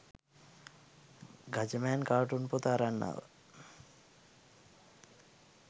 Gajaman cartoon පොත අරන් ආවා